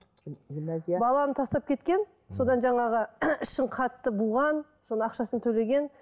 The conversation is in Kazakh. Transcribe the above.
гүлназия баланы тастап кеткен содан жаңағы ішін қатты буған соны ақшасын төлеген